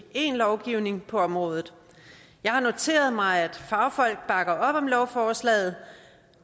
en lovgivning på området jeg har noteret mig at fagfolk bakker op om lovforslaget